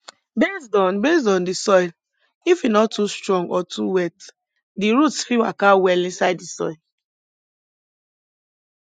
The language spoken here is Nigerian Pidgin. based on based on di soil if e nor too strong or too wet di roots fit waka well inside di soil